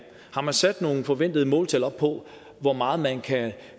har man sat nogen forventede måltal op på hvor meget man kan